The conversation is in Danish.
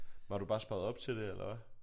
Var du bare sparet op til det eller hvad?